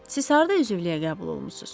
Siz harda üzvlüyə qəbul olunmusuz?